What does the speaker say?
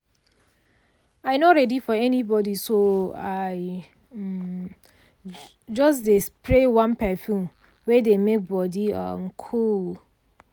i no ready for anybody so i um just um spray one perfume wey dey make body um cool.